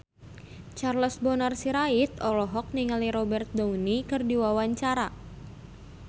Charles Bonar Sirait olohok ningali Robert Downey keur diwawancara